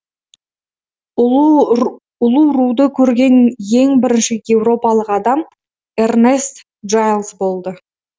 улуруды көрген ең бірінші еуропалық адам эрнест джалз болды